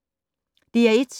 DR1